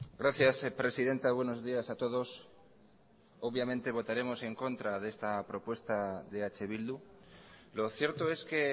gracias presidenta buenos días a todos obviamente votaremos en contra de esta propuesta de eh bildu lo cierto es que